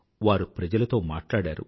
వారు ప్రజలతో మాట్లాడారు